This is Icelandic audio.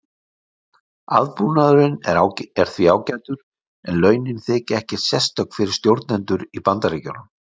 aðbúnaðurinn er því ágætur en launin þykja ekkert sérstök fyrir stjórnendur í bandaríkjunum